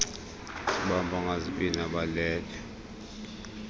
sibamba ngazibini abalele